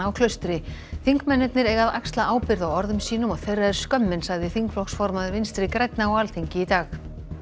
á Klaustri þingmennirnir eiga að axla ábyrgð á orðum sínum og þeirra er skömmin sagði þingflokksformaður Vinstri grænna á Alþingi í dag